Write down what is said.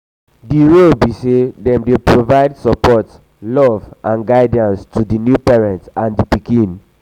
di role be say dem dey provide support love and guidance to di new parents and di baby.